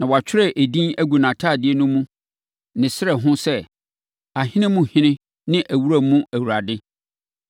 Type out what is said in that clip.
Na wɔatwerɛ edin agu nʼatadeɛ mu ne ne srɛ ho sɛ: ahene mu ɔhene ne awuranom mu awurade.